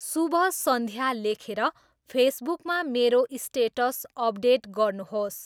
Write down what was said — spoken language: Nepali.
शुभ सन्ध्या लेखेर फेसबुकमा मेरो स्टेटस अपडेट गर्नुहोस्।